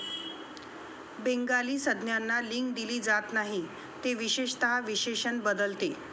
Bengali संज्ञांना लिंग दिली जात नाही, ते विशेषतः विशेषण बदलते.